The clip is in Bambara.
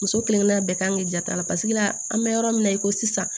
Muso kelen kelen bɛɛ kan k'i jatala paseke an bɛ yɔrɔ min na i ko sisan